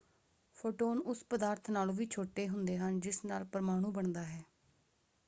Photon ਉਸ ਪਦਾਰਥ ਨਾਲੋਂ ਵੀ ਛੋਟੇ ਹੁੰਦੇ ਹਨ ਜਿਸ ਨਾਲ ਪਰਮਾਣੂ ਬਣਦਾ ਹੈ!